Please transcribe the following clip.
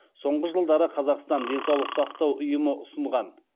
соңғы жылдары қазақстан денсаулық сақтау ұйымы ұсынған